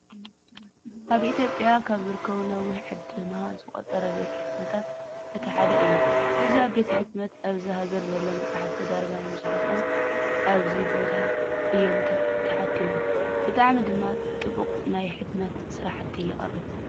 ኣብ ኢትዮጵያ ካብ ዝርከቡ ነዊሕ ዕድማ ዘቁፀረ ቤት ሕትመታት እቲ ሓደ እዩ። እዚ ቤት ሕትመት ኣብዚ ሀገር ዘለው መፅሓፍቲ ዳርጋ መብዛህቲኦም ኣብዚ ቦታ እዮም ተሓቲሞም። ብጣዕሚ ድማ ጥቡቅ ናይ ሕትመት ስራሕቲ የቅርብ።